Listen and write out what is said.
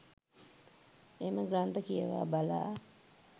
එම ග්‍රන්ථ කියවා බලා